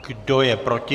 Kdo je proti?